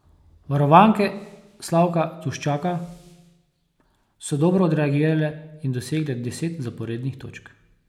Varovanke Slavka Duščaka so dobro odreagirale in dosegle deset zaporednih točk.